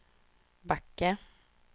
Backe